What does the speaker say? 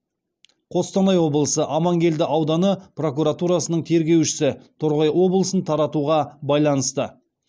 қостанай облысы амангелді ауданы прокуратурасының тергеушісі торғай облысын таратуға байланысты